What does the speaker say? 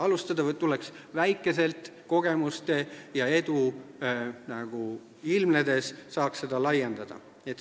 Alustada tuleks väikselt, kogemuste ja edu ilmnedes saaks seda laiendada.